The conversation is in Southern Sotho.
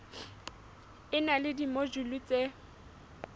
e na le dimojule tse